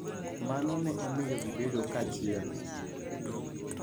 Mano ne omiyo gibedo kanyachiel.